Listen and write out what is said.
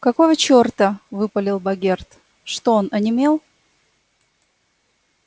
какого черта выпалил богерт что он онемел